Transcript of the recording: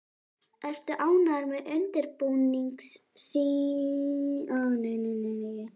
Ertu ánægður með undirbúningstímabilið hjá Skagamönnum?